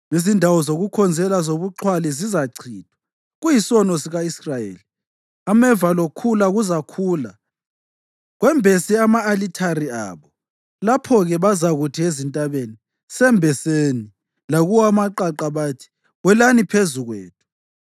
Izindawo zokukhonzela zobuxhwali zizachithwa, kuyisono sika-Israyeli. Ameva lokhula kuzakhula kwembese ama-alithare abo. Lapho-ke bazakuthi ezintabeni, “Sembeseni!” Lakuwo amaqaqa bathi, “Welani phezu kwethu!”